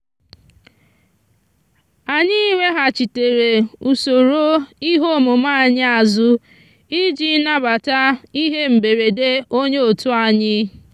anyị weghachitere usoro ihe omume anyị azụ iji nabata ihe mberede onye otu anyị.